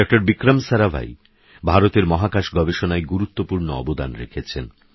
ডঃবিক্রমসারাভাইভারতেরমহাকাশগবেষণায়গুরুত্বপূর্ণঅবদানরেখেছেন